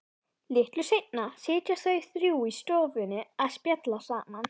Litlu seinna sitja þau þrjú í stofunni og spjalla saman.